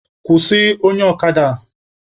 Kwụsị onye ọkada a!